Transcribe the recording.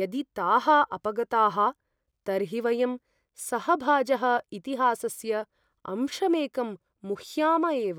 यदि ताः अपगताः, तर्हि वयं सहभाजः इतिहासस्य अंशमेकं मुह्याम एव।